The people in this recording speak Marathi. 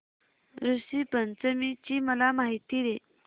ऋषी पंचमी ची मला माहिती दे